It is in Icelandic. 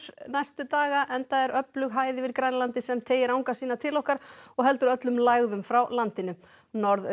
næstu daga enda er öflug hæð yfir Grænlandi sem teygir anga sína til okkar og heldur öllum lægðum frá landinu